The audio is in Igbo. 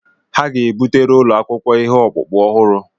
Ha ga-ebutere ụlọ akwụkwọ ihe ọkpụkpụ ọhụrụ.